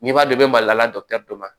N'i b'a dɔn i bɛ mali la dɔ la